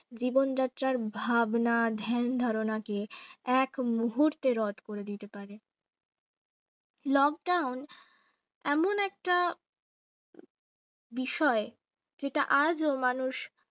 জীবনযাত্রা ভাবনা ধ্যান ধারণা কে এক মুহূর্তে রোধ করে দিতে পারে lockdown এমন একটা বিষয় যেটা আজও মানুষ